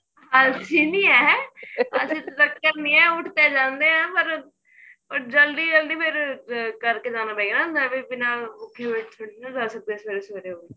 ਆਲਸੀ ਨੀਂ ਏ ਹੈ ਉਠ ਤਾਂ ਜਾਂਦੇ ਆ ਪਰ ਪਰ ਜਲਦੀ ਜਲਦੀ ਫੇਰ ਕਰ ਕੇ ਜਾਣਾ ਪਏਗਾ ਨਾ ਮੈਂ ਵੀ ਬਿੰਨਾ ਭੁੱਖੀ ਇੱਕ ਮਿੰਟ ਨੀਂ ਰਹਿ ਸਕਦੀ ਸਵੇਰੇ ਸਵੇਰੇ